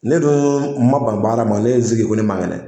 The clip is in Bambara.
Ne dun ma ban baara ma, ne ye n sigi ko ne man kɛnɛ.